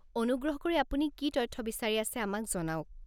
অনুগ্ৰহ কৰি আপুনি কি তথ্য বিচাৰি আছে আমাক জনাওক।